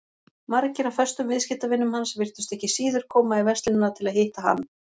Margir af föstum viðskiptavinum hans virtust ekki síður koma í verslunina til að hitta hann.